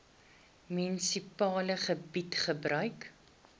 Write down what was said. munisipale gebied gebruik